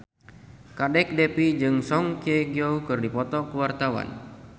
Kadek Devi jeung Song Hye Kyo keur dipoto ku wartawan